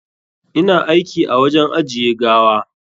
Ina aiki a wajen ajiye gawa.